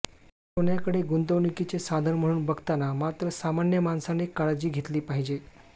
सोन्याकडे गुंतवणुकीचे साधन म्हणून बघताना मात्र सामान्य माणसाने काळजी घेतली पाहिजे